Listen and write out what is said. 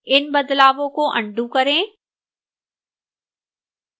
इन बदलावों को अन्डू करें